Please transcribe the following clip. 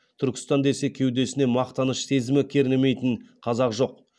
түркістан десе кеудесіне мақтаныш сезімі кернемейтін қазақ жоқ